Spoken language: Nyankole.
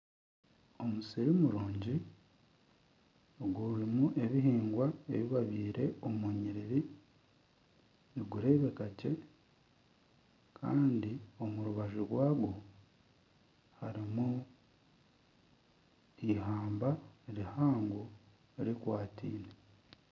Omusiri murungi ogurimu ebiheingwa ebi babyaire omu nyiriri nigurebekagye kandi omu rubaju rwagwo harimu eihamba rihango rikwataine.